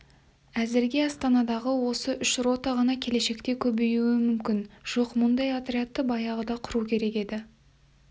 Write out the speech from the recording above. әзірге астанадағы осы үш рота ғана келешекте көбеюі мүмкін жоқ мұндай отрядты баяғыда құру керек еді